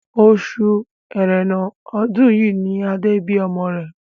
Oṣù ẹrẹ́nà ọdún yìí ni Adé bí ọmọ rẹ̀